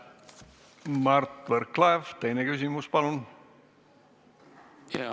Mart Võrklaev, teine küsimus, palun!